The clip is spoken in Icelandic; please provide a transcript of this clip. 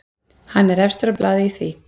Hann er efstur á blaði í því.